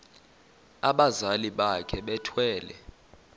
abazali bakhe bethwele